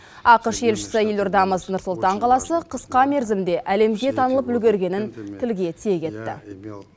ақш елшісі елордамыз нұр сұлтан қаласы қысқа мерзімде әлемге танылып үлгергенін тілге тиек етті